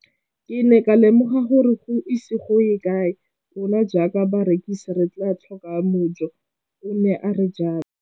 Ke ne ka lemoga gore go ise go ye kae rona jaaka barekise re tla tlhoka mojo, o ne a re jalo.